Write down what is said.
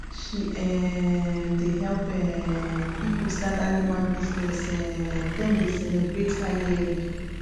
she um dey help um people start animal business um dem dey celebrate her yearly